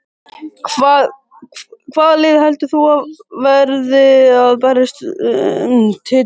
Hvaða lið heldur þú að verði að berjast um titilinn?